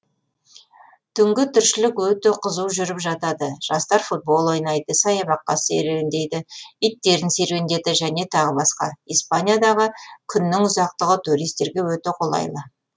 түнгі тіршілік өте қызу жүріп жатады жастар футбол ойнайды саябақта серуендейді иттерін серуендеді және тағы басқа испаниядағы күннің ұзақтығы туристерге өте қолайлы